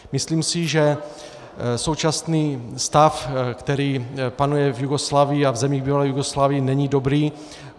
Myslím si, že současný stav, který panuje v Jugoslávii a v zemích bývalé Jugoslávie, není dobrý.